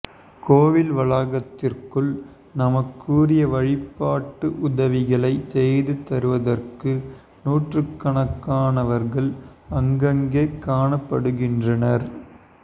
கோவில் வளாகத்திற்குள் நமக்குரிய வழிபாட்டு உதவிகளைச் செய்து தருவதற்கு நூற்றுக்கணக்கானவர்கள் அங்கங்கே காணப்படுகின்றனர்